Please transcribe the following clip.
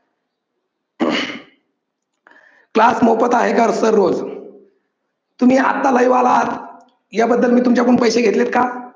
class मोफत आहे का sir रोज? तुम्ही आत्ता live आला आहात, या बद्दल मी तुमच्याकडून पैसे घेतलेत का?